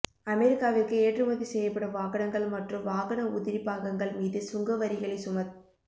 அமெரிக்காவிற்கு ஏற்றுமதி செய்யப்படும் வாகனங்கள் மற்றும் வாகன உதிரிப்பாகங்கள் மீது சுங்க வரிகளை சுமத்